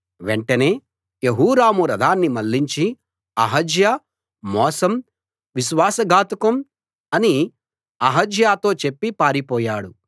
వెంటనే యెహోరాము రథాన్ని మళ్ళించి అహజ్యా మోసం విశ్వాస ఘాతుకం అని అహజ్యాతో చెప్పి పారిపోయాడు